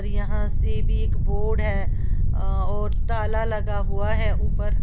यहां से भी एक बोर्ड है और ताला लगा हुआ है ऊपर।